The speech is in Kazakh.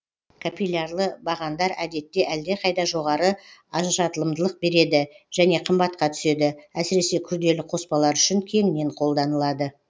капиллярлы бағандар әдетте әлдеқайда жоғары ажыратымдылық береді және қымбатқа түседі әсіресе күрделі қоспалар үшін кеңінен қолданылады